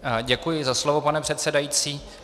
Děkuji za slovo, pane předsedající.